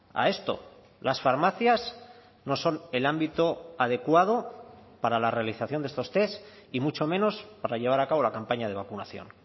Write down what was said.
a esto las farmacias no son el ámbito adecuado para la realización de estos test y mucho menos para llevar a cabo la campaña de vacunación